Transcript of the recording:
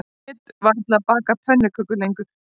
Ég get varla bakað pönnukökur lengur